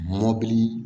Mɔbili